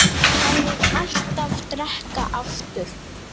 Hann mun alltaf drekka aftur.